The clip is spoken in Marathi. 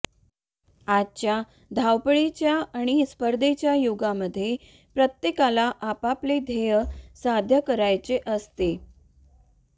आजच्या धावपळीच्या आणि स्पर्धेच्या युगामध्ये प्रत्येकाला आपापले ध्येय साध्य करायचे असते